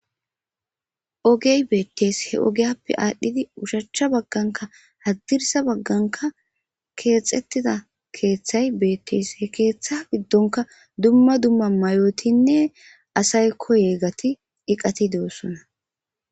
ogey beettees he ogeyappe aadhdhidi ushachcha bagganka haddirsa bagganka keexettida keeththay beettees he keeththa giddonka dumma dumma mayotinne asay koye gati iqati de7ossona